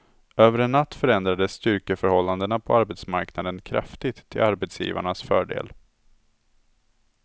Över en natt förändrades styrkeförhållandena på arbetsmarknaden kraftigt till arbetsgivarnas fördel.